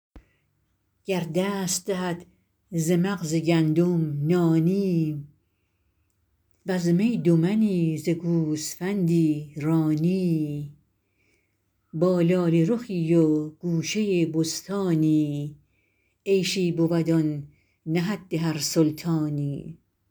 گر دست دهد ز مغز گندم نانی وز می دو منی ز گوسفندی رانی با لاله رخی و گوشه بستانی عیشی بود آن نه حد هر سلطانی